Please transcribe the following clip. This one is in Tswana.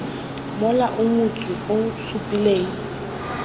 mola o motsu o supileng